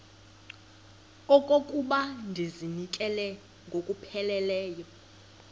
okokuba ndizinikele ngokupheleleyo